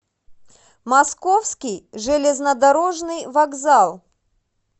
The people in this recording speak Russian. московский железнодорожный вокзал